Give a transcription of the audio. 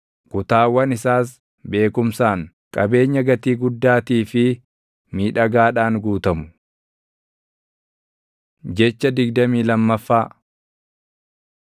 kutaawwan isaas, beekumsaan, qabeenya gatii guddaatii fi miidhagaadhaan guutamu. Jecha digdamii lammaffaa